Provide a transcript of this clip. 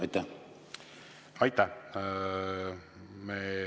Aitäh!